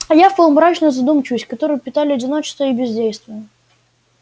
я впал в мрачную задумчивость которую питали одиночество и бездействие